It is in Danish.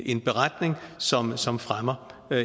en beretning som som fremmer